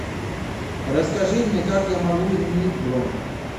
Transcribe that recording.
расскажи мне как я могу изменить бронь